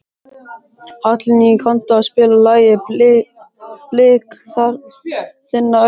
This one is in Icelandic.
Hallný, kanntu að spila lagið „Blik þinna augna“?